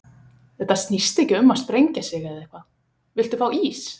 Þetta snýst ekkert um að sprengja sig eða eitthvað, villt þú fá ís?